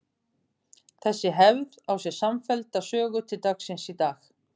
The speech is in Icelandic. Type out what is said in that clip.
Þessi hefð á sér samfellda sögu til dagsins í dag.